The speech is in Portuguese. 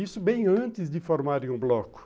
Isso bem antes de formarem um bloco.